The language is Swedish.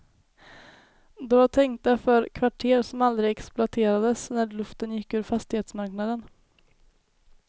De var tänkta för kvarter som aldrig exploaterades när luften gick ur fastighetsmarknaden.